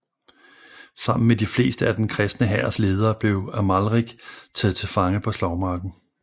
Sammen med de fleste af den kristne hærs ledere blev Amalrik taget til fange på slagmarken